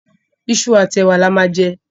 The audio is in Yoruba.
Iṣu àti ẹ̀wa la máa jẹ.